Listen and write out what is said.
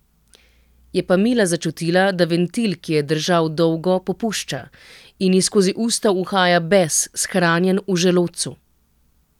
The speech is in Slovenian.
Je pa Mila začutila, da ventil, ki je držal dolgo, popušča, in ji skozi usta uhaja bes, shranjen v želodcu.